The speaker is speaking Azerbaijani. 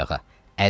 Durdu ayağa.